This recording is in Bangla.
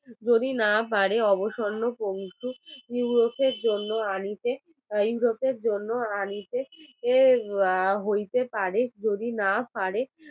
যদি না পারে ইউরোপের জন্য আনিতে ইউরোপের জন্য আনিতে হইতে পারে যদি না পারে